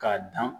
K'a dan